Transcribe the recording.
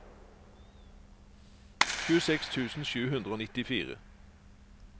tjueseks tusen sju hundre og nittifire